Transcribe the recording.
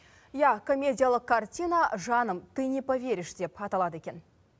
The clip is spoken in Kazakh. иә комедиялық картина жаным ты не поверишь деп аталады екен